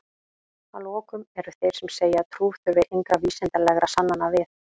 að lokum eru þeir sem segja að trú þurfi engra vísindalegra sannana við